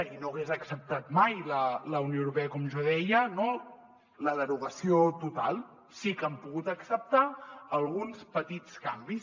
i no n’hagués acceptat mai la unió europea com jo deia no la derogació total sí que n’han pogut acceptar alguns petits canvis